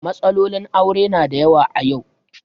Matsalolin aure na da yawa a yau.